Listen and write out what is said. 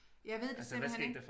Jeg ved det simpelthen ikke